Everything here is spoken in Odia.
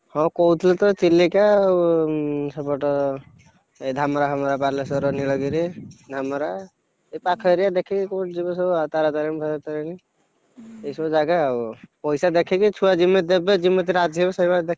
ହଁ କହିଥିଲେତ ଚିଲିକା ଆଉ ସେପଟ, ଏଇ ଧାମେରା ଫାମେରା ବାଲେଶ୍ବର ନିଳଗିରି ଧାମେରା, ଏଇ ପାଖ ଏରିଆ ଦେଖିକି କୋଉଠି ଯିବେ ସବୁ ଆଉ ତାରାତାରିଣୀ ଫାରାତାରିଣୀ, ଏଇ ସବୁ ଜାଗା ଆଉ ପଇସା ଦେଖିକି ଛୁଆ ଯେମିତି ଦେବେ ଯେମିତି ରାଜି ହେବେ ସେଇ ଭଳିଆ ଦେଖିକି।